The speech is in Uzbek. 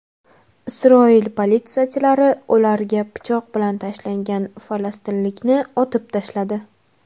Isroil politsiyachilari ularga pichoq bilan tashlangan falastinlikni otib tashladi.